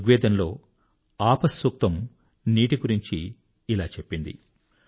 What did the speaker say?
ఋగ్వేదంలో ఆపఃసూక్తము నీటి గురించి ఇలా చెప్పబడింది